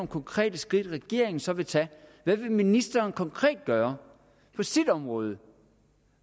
konkrete skridt regeringen så vil tage hvad vil ministeren konkret gøre på sit område